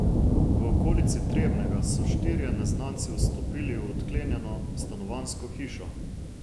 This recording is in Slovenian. V okolici Trebnjega so štirje neznanci vstopili v odklenjeno stanovanjsko hišo.